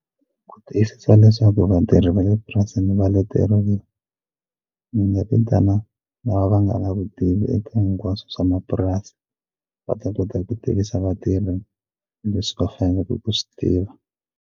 Ku tiyisisa leswaku vatirhi va le purasini va leteriwa ni nga vitana lava va nga na vutivi eka hinkwaswo swa mapurasi va ta kota ku tivisa vatirhi leswi va faneleke ku swi tiva.